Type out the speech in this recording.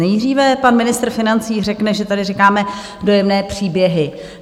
Nejdříve pan ministr financí řekne, že tady říkáme dojemné příběhy.